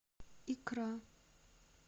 икра